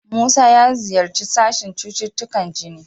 Musa ya ziyarci sashen cututtukan jini.